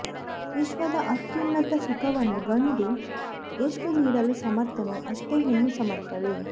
ವಿಶ್ವದ ಅತ್ಯುನ್ನತ ಸುಖವನ್ನು ಗಂಡು ಎಷ್ಟು ನೀಡಲು ಸಮರ್ಥನೋ ಅಷ್ಟೇ ಹೆಣ್ಣು ಸಮರ್ಥಳು